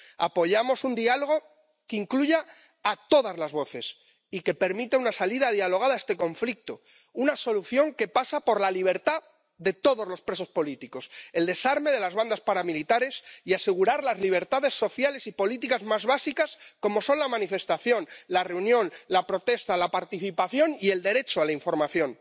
Apoyamos un diálogo que incluya a todas las voces y que permita una salida dialogada a este conflicto, una solución que pasa por la libertad de todos los presos políticos, el desarme de las bandas paramilitares y asegurar las libertades sociales y políticas más básicas, como son la manifestación, la reunión, la protesta, la participación y el derecho a la información.